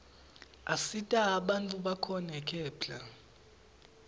asita bantfu bakhone kephla